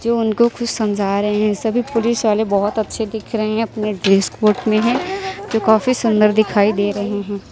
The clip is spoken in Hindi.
जो उनको कुछ समझा रहे हैं सभी पुलिस वाले बहुत अच्छे दिख रहे हैं अपने ड्रेस कोट में हैं जो काफी सुंदर दिखाई दे रहे हैं।